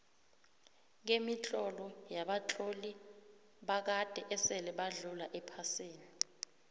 kemitlolo yabatloli bakade esile badlula ephasini